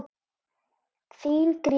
Þín Gréta.